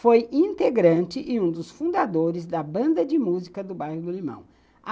Foi integrante e um dos fundadores da banda de música do bairro do Limão.